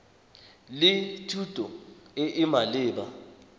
le thuto e e maleba